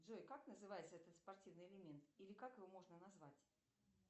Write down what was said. джой как называется этот спортивный элемент или как его можно назвать